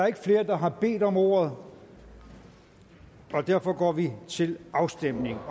ikke flere der har bedt om ordet og derfor går vi til afstemning